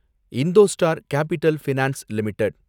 IndoStar capital finance limited